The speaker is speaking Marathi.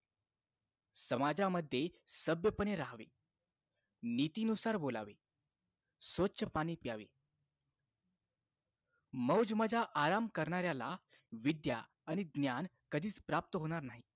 समाजामध्ये सभ्य पणे राहावे नीतीनुसार बोलावे स्वच्छ पाणी प्यावे मौजमजा आराम करणाऱ्याला विद्या आणि ज्ञान कधीच प्राप्त होणार नाही